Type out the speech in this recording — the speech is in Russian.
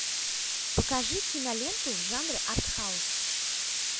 покажи киноленту в жанре артхаус